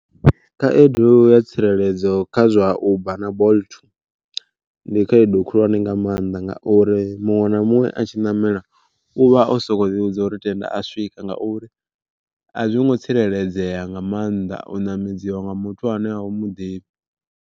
Khaedu ya tsireledzo kha zwa uber na bolt ndi khaedu khulwane nga maanḓa ngauri muṅwe na muṅwe a tshi ṋamela, u vha o soko ḓi vhudza uri tenda a swika ngauri a zwi ngo tsireledzea nga maanḓa u ṋamedziwa nga muthu ane a u muḓivhi.